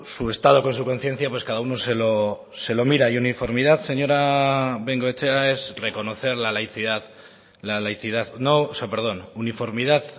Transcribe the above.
su estado con su conciencia pues cada uno se lo mira y uniformidad señora de bengoechea uniformidad